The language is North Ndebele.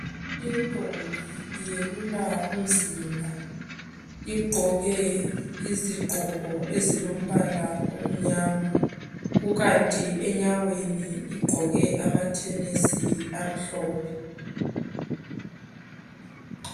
Intombi iyelula umzimba, igqoke impahla ezilombala kukanti enyaweni igqoke amatennis amhlophe.